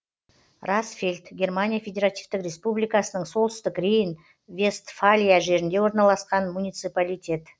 расфельд германия федеративтік республикасының солтүстік рейн вестфалия жерінде орналасқан муниципалитет